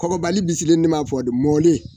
Kɔgɔbali bisilen ne m'a fɔ mɔnen.